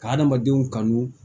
Ka hadamadenw kanu